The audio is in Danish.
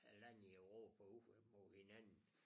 Æ lande i Europa ud mod hinanden